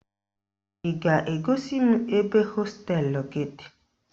Ị ga-egosi m ebe hosteelụ gị dị?